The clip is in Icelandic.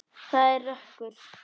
Það er rökkur.